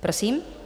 Prosím.